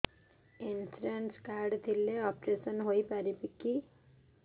insurance card ଥିଲେ operation ହେଇପାରିବ କି